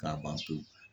K'a ban pewu